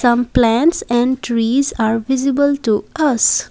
some plants and trees are visible to us.